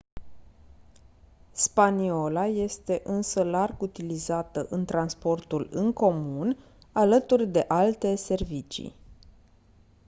spaniola este însă larg utilizată în transportul în comun alături de alte servicii